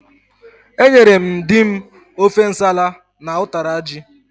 Enyere m dim ofe nsala na ụtara ji.